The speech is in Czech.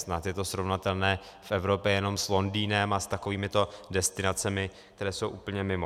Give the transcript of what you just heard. Snad je to srovnatelné v Evropě jenom s Londýnem a s takovýmito destinacemi, které jsou úplně mimo.